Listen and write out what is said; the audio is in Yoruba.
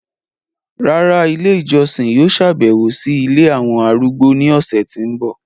Rárá, ìlé ijọsin yóò ṣabẹwo si ìlé awọn arúgbó ni ọsẹ ti n bọ